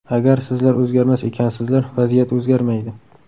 Agar sizlar o‘zgarmas ekansizlar, vaziyat o‘zgarmaydi.